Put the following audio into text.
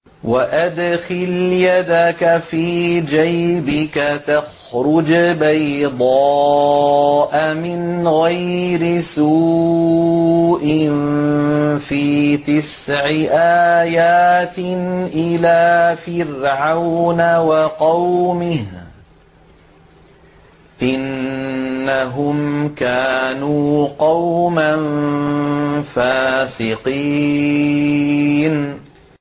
وَأَدْخِلْ يَدَكَ فِي جَيْبِكَ تَخْرُجْ بَيْضَاءَ مِنْ غَيْرِ سُوءٍ ۖ فِي تِسْعِ آيَاتٍ إِلَىٰ فِرْعَوْنَ وَقَوْمِهِ ۚ إِنَّهُمْ كَانُوا قَوْمًا فَاسِقِينَ